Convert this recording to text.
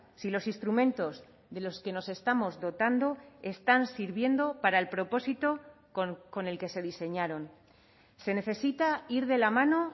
si los instrumentos de los que nos estamos dotando están sirviendo para el propósito con el que se diseñaron se necesita ir de la mano